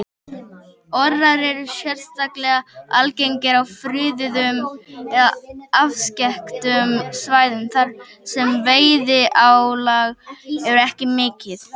Orrar eru sérstaklega algengir á friðuðum eða afskekktum svæðum þar sem veiðiálag er ekki mikið.